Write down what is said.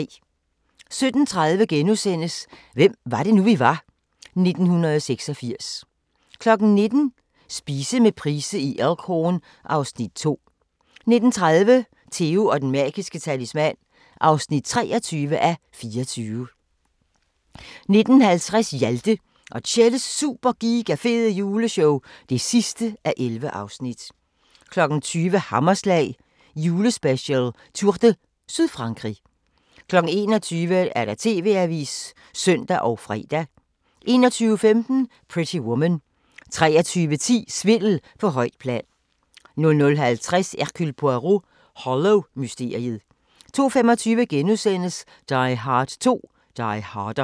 17:30: Hvem var det nu, vi var? - 1986 * 19:00: Spise med Price i Elk Horn (Afs. 2) 19:30: Theo & den magiske talisman (23:24) 19:50: Hjalte og Tjelles Super Giga Fede Juleshow (11:11) 20:00: Hammerslag julespecial: Tour de Sydfrankrig 21:00: TV-avisen (søn og fre) 21:15: Pretty Woman 23:10: Svindel på højt plan 00:50: Hercule Poirot: Hollow-mysteriet 02:25: Die Hard 2: Die Harder *